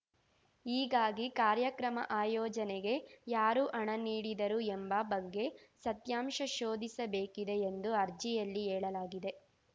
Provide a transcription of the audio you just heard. ಹೀಗಾಗಿ ಕಾರ್ಯಕ್ರಮ ಆಯೋಜನೆಗೆ ಯಾರು ಹಣ ನೀಡಿದರು ಎಂಬ ಬಗ್ಗೆ ಸತ್ಯಾಂಶ ಶೋಧಿಸಬೇಕಿದೆ ಎಂದು ಅರ್ಜಿಯಲ್ಲಿ ಹೇಳಲಾಗಿದೆ